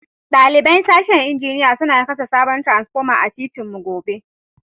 Dalibain sashen injiniya suna kasa sabon transpoma a'titin mu gobe.